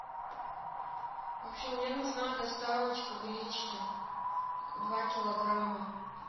в общем мне нужна доставочка гречки два килограмма